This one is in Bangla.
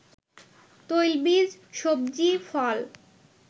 তৈলবীজ, সব্জি, ফল